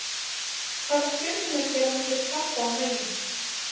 Hvaða stjörnumerki er á milli krabba og meyju?